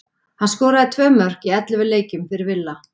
Hann skoraði tvö mörk í ellefu leikjum fyrir Villa.